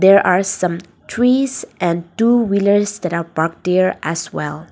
there are some trees and two wheelers that are parked there as well.